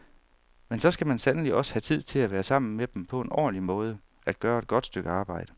Men så skal man sandelig også have tid til at være sammen med dem på en ordentlig måde, at gøre et godt stykke arbejde.